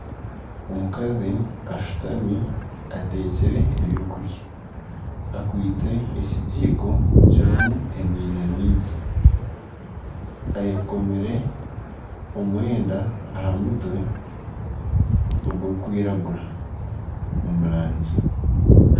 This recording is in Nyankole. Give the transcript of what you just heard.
Omukazi ashutami atekire ebyokurya akwitse ekigiiko kirimu emyina mingi, eyekomire omwenda aha mutwe, ogurikwiragura omu rangi